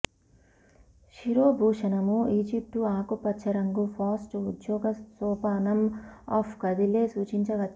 శిరోభూషణముఈజిప్టు ఆకుపచ్చ రంగు ఫాస్ట్ ఉద్యోగ సోపానం అప్ కదిలే సూచించవచ్చు